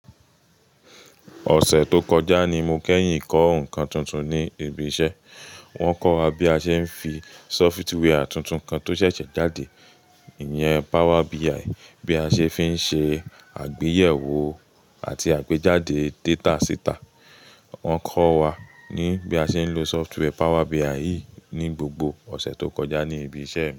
Ọ̀sẹ̀ tó kọjá ni mo kẹ́yìn kọ́ nǹkan tuntun ní ibi iṣẹ́. Wọ́n kọ́ wa bí a ṣe ń fi sọfitweẹr tuntun kan tó ṣẹ̀ṣẹ̀ jáde yẹn, Power BI, bí a ṣe fi ń ṣe àgbéyẹ̀wò àti àgbéjáde data síta. Wọ́n kọ́ wa ní bí a ṣe ń lo sọfitweẹr Power BI yi ní gbogbo ọ̀sẹ̀ tó kọjá ní ibi iṣẹ́